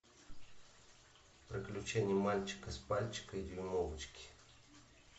приключения мальчика с пальчика и дюймовочки